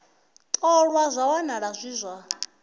ṱolwa zwa wanala zwi zwa